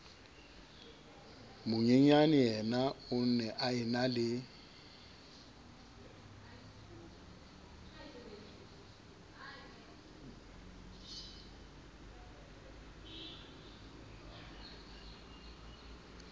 monyenyaneyena o ne a enale